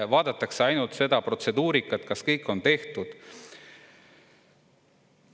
Vaadatakse ainult seda protseduurikat, kas kõik on tehtud.